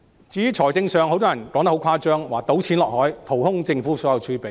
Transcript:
至於財政方面，很多人說得很誇張，說"倒錢落海"，淘空政府所有儲備。